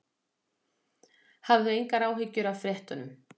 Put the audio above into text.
Hafðu engar áhyggjur af fréttunum.